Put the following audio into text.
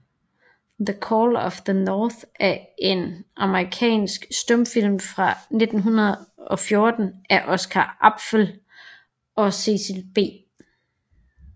The Call of the North er en amerikansk stumfilm fra 1914 af Oscar Apfel og Cecil B